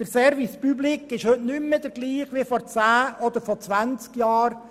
Der Service public ist heute nicht mehr der gleiche wie vor zehn oder zwanzig Jahren.